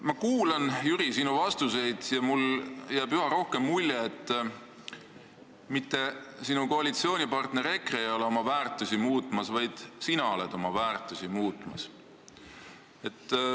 Ma kuulan, Jüri, sinu vastuseid ja mulle jääb üha rohkem mulje, et mitte sinu koalitsioonipartner EKRE ei ole oma väärtusi muutmas, vaid sina oled oma väärtusi muutmas.